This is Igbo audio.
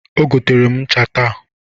O gotere ncha taa.